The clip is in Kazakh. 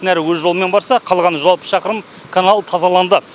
нәрі өз жолымен барса қалған жүз алпыс шақырым канал тазаланды